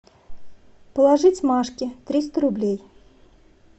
положить машке триста рублей